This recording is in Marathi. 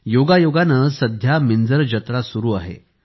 योगायोगाने सध्या मिंजर जत्रा सुरु आहे